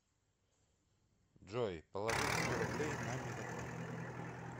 джой положить сто рублей на мегафон